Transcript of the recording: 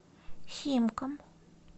химкам